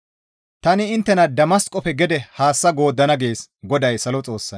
Tani inttena Damasqofe gede haassa gooddana» gees GODAY Salo Xoossay.